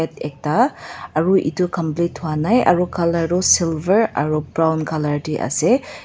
ekta aro eto complete hoinai aro colour toh silver aro brown colour teh ase.